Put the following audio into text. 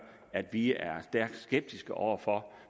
at vi er stærkt skeptiske over for